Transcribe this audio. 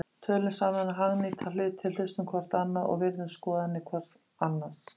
Tölum saman um hagnýta hluti, hlustum hvort á annað og virðum skoðanir hvort annars.